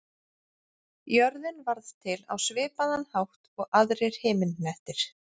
Jörðin varð til á svipaðan hátt og aðrir himinhnettir.